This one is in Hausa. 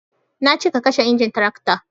na ce ka kashe injin tarakta